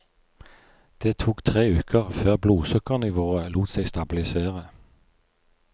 Det tok tre uker får blodsukkernivået lot seg stabilisere.